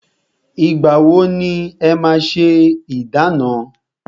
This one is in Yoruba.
Ìgbà wọ ni e máa ṣé ìdána?